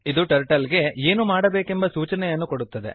ಇದು ಟರ್ಟಲ್ ಗೆ ಏನು ಮಾಡಬೇಕೆಂಬ ಸೂಚನೆಯನ್ನು ಕೊಡುತ್ತದೆ